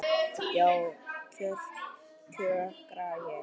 Já, kjökra ég.